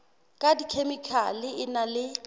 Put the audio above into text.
ka dikhemikhale e na le